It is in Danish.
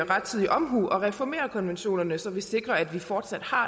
rettidig omhu at reformere konventionerne så vi sikrer at vi fortsat har